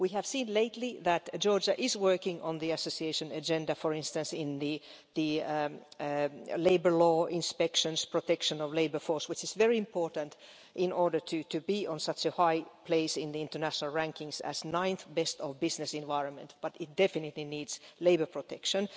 We have seen lately that Georgia is working on the association agenda for instance on labour law inspections, protection of the labour force which is very important in order to be at such a high place in the international rankings as ninth best business environment, but it definitely needs labour protection.